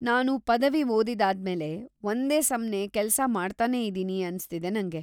ನಾನು ಪದವಿ ಓದಿದ್ದಾದ್ಮೇಲೆ ಒಂದೇ ಸಮ್ನೇ ಕೆಲ್ಸ ಮಾಡ್ತನೇ ಇದೀನಿ ಅನ್ಸ್ತಿದೆ ನಂಗೆ.